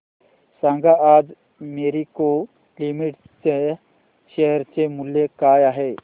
सांगा आज मॅरिको लिमिटेड च्या शेअर चे मूल्य काय आहे